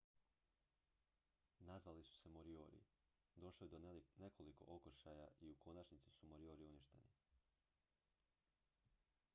nazvali su se moriori došlo je do nekoliko okršaja i u konačnici su moriori uništeni